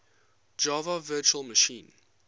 java virtual machine